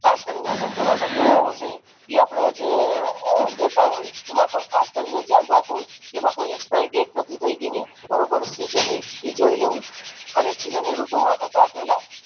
ખાસ કરીને જાણતુ નાશક દવાઓ જે છે તે આપણે જે લેતા હોય એમાં પણ ખાસ કરીને ધ્યાન રાખવું તે માં કોઈ expiry date નથી થયી ગયી ને બરોબર છે ને એ જોયી લેવું દરેક season ની ઋતુમાં પેહલા